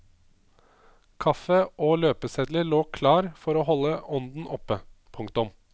Kaffe og løpesedler lå klar for å holde ånden oppe. punktum